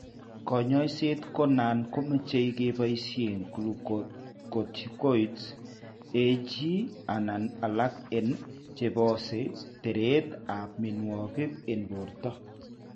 Kanyaiset ko nan komache kebaisien glucocorticoids ag/anan alak en chebose teret ab mianwagik en borto